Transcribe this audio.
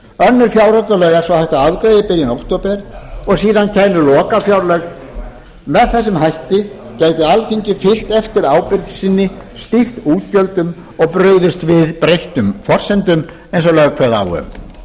að afgreiða í byrjun október og síðan kæmu lokafjárlög með þessum hætti gæti alþingi fylgt eftir ábyrgð sinni stýrt útgjöldum og brugðist við breyttum forsendum eins og lög kveða á um